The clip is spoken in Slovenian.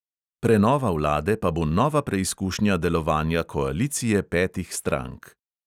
Prenova vlade pa bo nova preizkušnja delovanja koalicije petih strank.